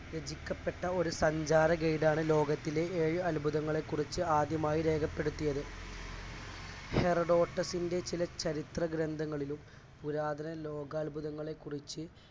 രചിക്കപ്പെട്ട ഒരു സഞ്ചാര guide ആണ് ലോകത്തിലെ ഏഴ് അത്ഭുതങ്ങളെകുറിച്ച് ആദ്യമായി രേഖപ്പെടുത്തിയത്. ഹെറഡോസഫിന്റെ ചില ചരിത്ര ഗ്രന്ഥങ്ങളിലും പുരാതന ലോകാത്ഭുതങ്ങളെ കുറിച്ച്